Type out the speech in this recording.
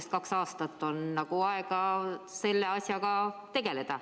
Sest kaks aastat on aega selle asjaga tegeleda.